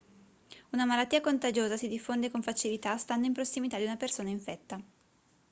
una malattia contagiosa si diffonde con facilità stando in prossimità di una persona infetta